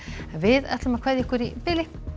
við kveðjum ykkur í bili